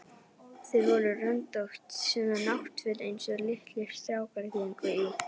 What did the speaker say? Þau voru röndótt, svona náttföt einsog litlir strákar gengu í.